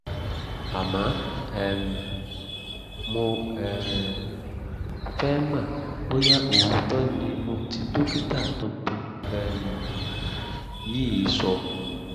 àmọ́ um mo um fẹ́ mọ̀ bóyá òótọ́ ni ohun tí dókítà tuntun um yìí sọ